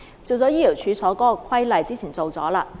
有關醫療處所的規例，之前已經處理。